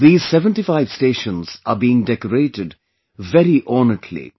These 75 stations are being decorated very ornately